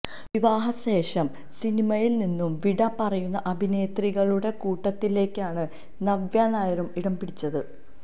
വിവാഹ ശേഷം സിനിമയില് നിന്നും വിട പറയുന്ന അഭിനേത്രികളുടെ കൂട്ടത്തിലേക്കാണ് നവ്യ നായരും ഇടംപിടിച്ചത്